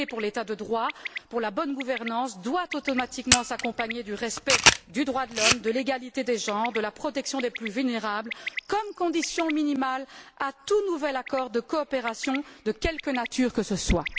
Plaider pour l'État de droit et pour la bonne gouvernance doit automatiquement s'accompagner du respect des droits de l'homme, de l'égalité des genres, de la protection des plus vulnérables, comme conditions minimales à tout nouvel accord de coopération, de quelle que nature que ce soit.